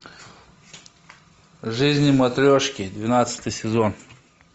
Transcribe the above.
жизнь матрешки двенадцатый сезон